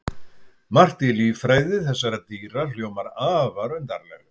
Margt í líffræði þessara dýra hljómar afar undarlega.